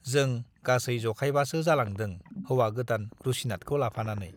जों गासै जखायबासो जालांदों हौवा-गोदान रुसिनाथखौ लाफानानै।